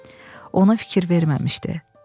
Ona fikir verməmişdi.